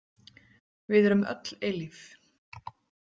Við erum öll eilíf.